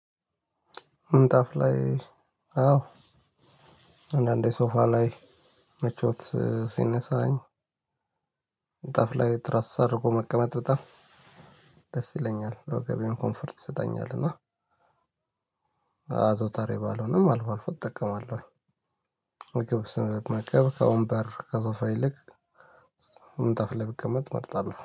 ምንጣፍ ላይ አዎ አንዳንዴ ሶፋ ላይ ምቾት ሲነሳኝ ምንጤፍ ላይ ትራስ አድርጎ መቀመጥ በጣም ደስ ይለኛል ወገቤን ኮምፈርት ይሰጠኛል። እና አዘውታሪ ባልሆንም አልፏ አልፏ እጠቀማለሁ። ምግብ ስንመገብ ከወንበር ከሶፋ ይልቅ ምንጣፍ ላይ ብቀመጥ እመርጣለሁ